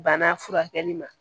Bana furakɛli ma